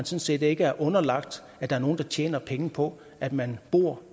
set ikke er underlagt at der er nogen der tjener penge på at man bor